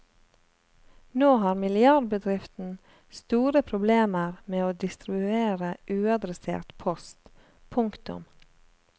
Nå har milliardbedriften store problemer med å distribuere uadressert post. punktum